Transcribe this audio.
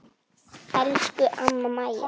Elsku amma Maja.